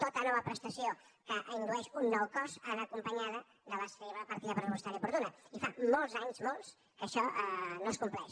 tota nova prestació que indueix un nou cost ha d’anar acompanyada de la seva partida pressupostària oportuna i fa molts anys molts que això no es compleix